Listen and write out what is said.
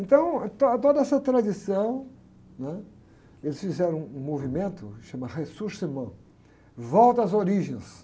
Então, ah, to, toda essa tradição, eles fizeram um movimento que se chama, volta às origens.